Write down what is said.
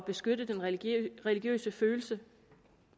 beskytte den religiøse religiøse følelse